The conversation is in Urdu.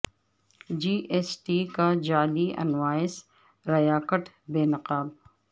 جی ایس ٹی کا جعلی انوائس ریاکٹ بے نقاب